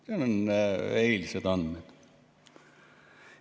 Need on eilsed andmed.